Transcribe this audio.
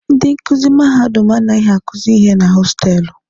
Ndị nkuzi mahadum anaghị akuzi ihe na hostelụ.